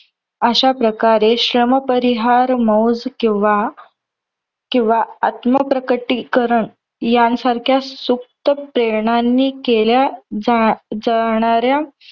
अश्याप्रकारे श्रमपरिहार मौज किंवा किंवा आत्मप्रकटीकरण यांसारख्या सूक्त प्रेरणांनी केल्या जा जाणाऱ्या